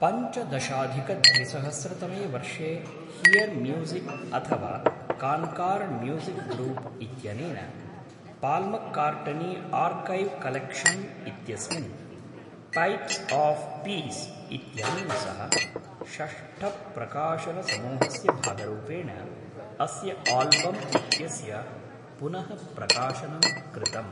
पञ्चदशाधिकद्विसहस्रतमे वर्षे Hear Music अथवा Concord Music Group इत्यनेन, पाल्मक्कार्ट्नी आर्कैव् कलेक्शन् इत्यस्मिन्, पैप्स् आफ्‌ पीस् इत्यनेन सह, षष्ठप्रकाशनसमूहस्य भागरूपेण अस्य आल्बम् इत्यस्य पुनः प्रकाशनं कृतम्।